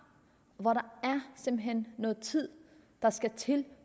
hvor der simpelt hen skal noget tid